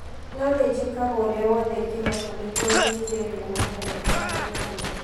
No nĩ njĩkaga ũrĩa wothe ingĩhota nĩguo ndĩkie wĩra wothe mbere ya gũkoma.